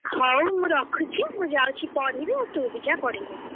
ହଉ ମୁଁରଖୁଛି। ମୁଁ ଯାଉଛି ପଢିବି, ଆଉ ତୁ ବି ଯା ପଢିବୁ।